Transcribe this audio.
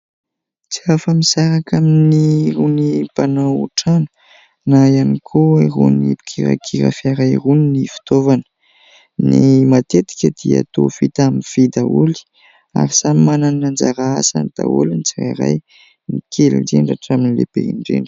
Tsy hafa-misaraka amin'irony mpanao trano na ihany koa irony mpikirakira fiara irony ny fitaovana. Ny matetika dia toa vita amin'ny vy daholo, ary samy manana ny anjara asany daholo ny tsirairay, ny kely indrindra hatramin'ny lehibe indrindra.